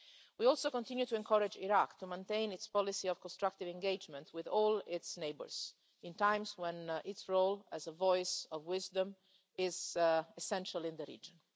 We also continue to encourage Iraq to maintain its policy of constructive engagement with all its neighbours in times when its role as a voice of wisdom is essential in the region.